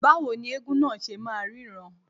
Báwo ni eégún náà ṣe máa ríran..